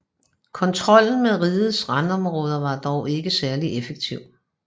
Kontrollen med rigets randområder var dog ikke særlig effektiv